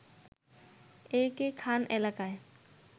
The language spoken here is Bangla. এ কে খান এলাকায়